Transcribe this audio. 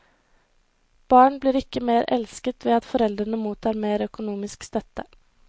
Barn blir ikke mer elsket ved at foreldrene mottar mer økonomisk støtte.